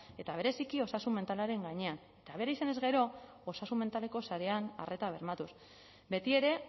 eta bereziki osasun mentalaren gainean eta behar izanez gero osasun mentaleko sarean arreta bermatuz betiere